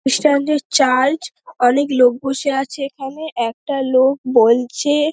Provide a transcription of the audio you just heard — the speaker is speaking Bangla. খ্রিস্টানদের চার্চ অনেক লোক বসে আছে এখানে একটা লোক বলছে-এ--